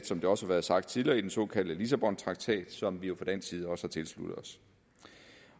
som det også er sagt tidligere fastsat i den såkaldte lissabontraktat som vi jo fra dansk side også har tilsluttet os